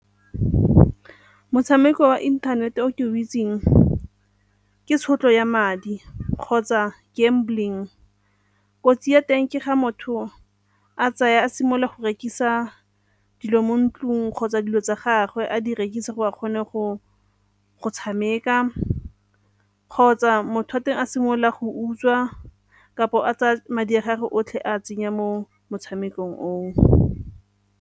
Motshameko wa inthanete o ke o itseng ke tshotlo ya madi kgotsa gambling. Kotsi ya teng ke ga motho a tsaya a simolola go rekisa dilo mo ntlong kgotsa dilo tsa gagwe a di rekisa gore a kgone go tshameka kgotsa motho wa teng a simolola go utswa kapo a tsaya madi a gage otlhe a a tsenya mo motshamekong oo.